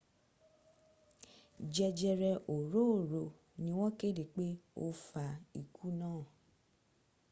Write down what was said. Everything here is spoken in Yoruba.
jẹjẹrẹ òróòro ni wọn kéde pé ó fa ikú náà